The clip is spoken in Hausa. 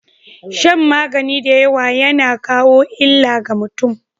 Shan magani dayawa yAna kawo illa ga mutun